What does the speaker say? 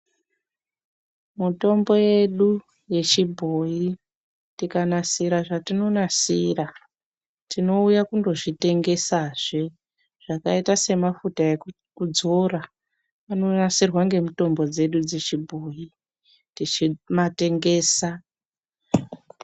Mutombo yedu yechibhoyi tikanasira zvatinonasira tinouya kundozvitengesazve zvakaita semafuta ekukudzora anonasirwa ngemutombo dzedu dzechibhoyi tichimatengesa.